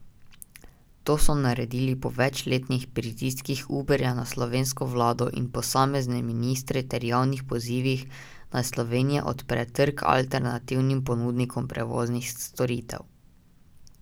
To so naredili po večletnih pritiskih Uberja na slovensko vlado in posamezne ministre ter javnih pozivih, naj Slovenija odpre trg alternativnim ponudnikom prevoznih storitev.